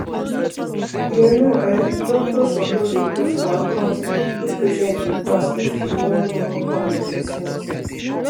you know[um]goctors suppose dy put for account if patients dey fast if he wan wan plan their treatment